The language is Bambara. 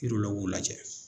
lajɛ.